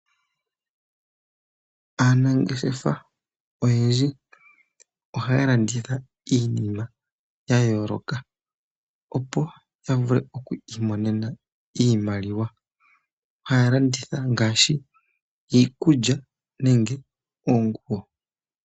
Aanangeshefa oyendji ohaya landitha iinima ya yooloka opo ya vule okwiimonena iimaliwa, oha ya landitha ngaashi iikulya nenge oonguwo.